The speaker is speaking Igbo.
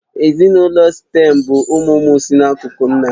Ezinụlọ Sịtẹ̀m bụ ụmụ ụmụ si n'akụkụ nna